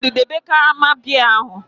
Chinedu, debe karama biya ahu!